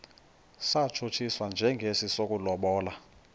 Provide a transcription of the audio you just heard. satshutshiswa njengesi sokulobola